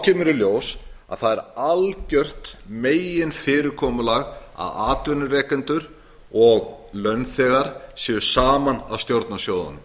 kemur í ljós að það er algjört meginfyrirkomulagið að atvinnurekendur og launþegar séu saman að stjórna sjóðunum